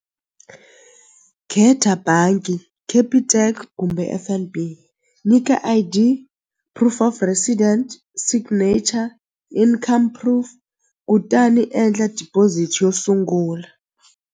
Khetha bangi Capitec kumbe F_N_B nyika I_D proof of resident signature income proof kutani endla deposit yo sungula.